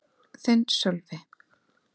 Þinn, Sölvi.